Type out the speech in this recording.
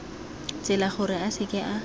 tsela gore a seke a